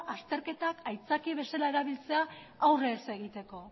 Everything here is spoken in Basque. azterketak aitzaki bezala erabiltzea aurre ez egiteko